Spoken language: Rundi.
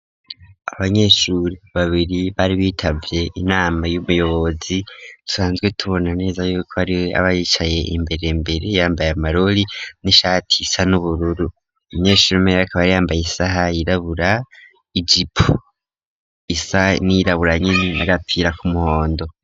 Abanyeshuri babiri bari bitavye inama y'umuyobozi dusanzwe tubona neza yuko ariwe aba yicaye imbere mbere yambaye amarori n'ishati isa n'ubururu umunyeshuri umwe akaba yambaye isaha yirabura ijipo isa n'iyirabura nyene n'agapira k'umuhondo.